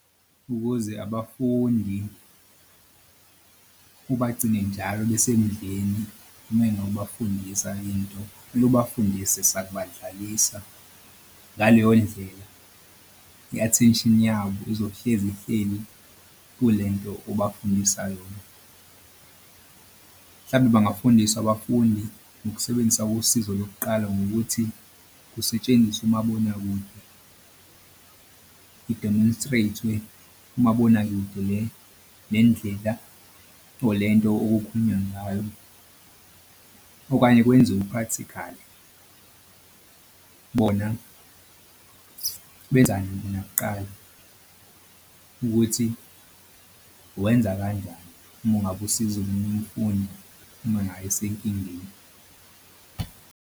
Ukuze abafundi kubagcine njalo kumele nokubafundisa into funa ubafundisa sakubadlalisa ngaleyo ndlela i-attention yabo izohlezi ihleli kule nto obafundisayo yona. Mhlawumbe bangafundiswa abafundi ngokusebenzisa usizo lokuqala ngokuthi kusetshenziswe umabonakude i-demonstrate-we kumabonakude le le nendlela or le nto okukhulunywa ngayo. Okanye kwenziwe i-practical bona benza nakuqala ukuthi uwenza kanjani uma ungabe usiza omunye umfundi uma ngabe esenkingeni.